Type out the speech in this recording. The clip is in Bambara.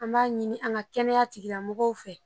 An b'a ɲini an ka kɛnɛya tigilamɔgɔw fɛ